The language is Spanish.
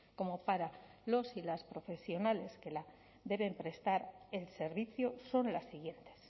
como para los y las profesionales que deben prestar el servicio son las siguientes